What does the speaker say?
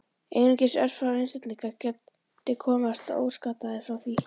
Einungis örfáir einstaklingar geti komist óskaddaðir frá því.